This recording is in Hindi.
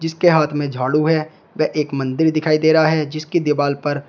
इसके हाथ में झाड़ू है व एक मंदिर दिखाई दे रहा है जिसके दिवाल पर--